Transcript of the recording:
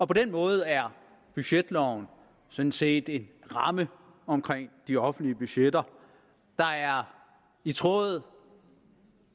på den måde er budgetloven sådan set en ramme omkring de offentlige budgetter der er i tråd